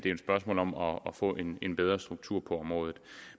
et spørgsmål om om at få en en bedre struktur på området